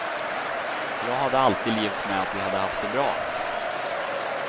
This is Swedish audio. Jag hade alltid levt med att vi hade haft det bra.